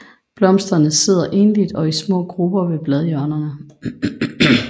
Blomsterne sidder enligt eller i små grupper ved bladhjørnerne